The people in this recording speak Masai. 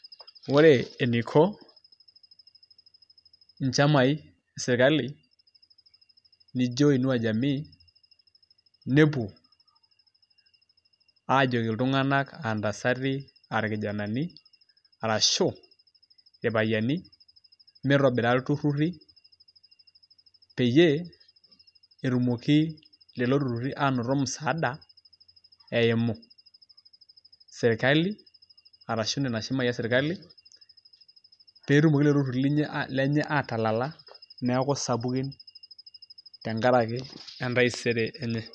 ore eneiko inchamai esirakali neijo inua jamii. nepuo, aajoki iltunganak, aantasati arashu irpayiani, mitobira iltururi, peyiee etumoki lelo tururi aanoto musaada eimu sirkali arashu nena shamai esirkali. pee etumoki lelo tururi lenye aatalala. tenkaraki entaisere enye.